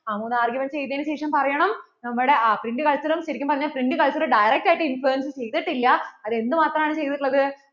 ആ മൂന്ന് arguments എഴുതിയതിനു ശേഷം പറയണം നമ്മുടെ ആ print culture ശരിക്കും പറഞ്ഞാൽ print culture direct ആയിട്ട് influence ചെയ്‌തിട്ടില്ല അത് എന്ത് മാത്രം ആണ് ചെയ്‌തിട്ട് ഉള്ളത്